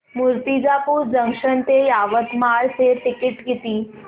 Murtijapur junction ते यवतमाळ चे ticket किती